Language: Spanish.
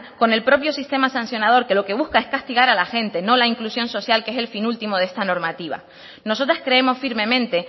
con el propio sistema sancionador que lo que busca es castigar a la gente no la inclusión social que es el fin último de esta normativa nosotras creemos firmemente